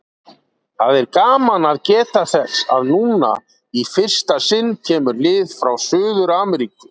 Það er gaman að geta þess að núna, í fyrsta sinn, kemur lið frá Suður-Ameríku.